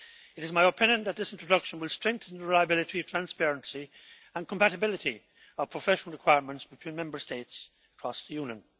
It is my opinion that this introduction will strengthen the reliability, transparency and compatibility of professional requirements between Member States across the Union.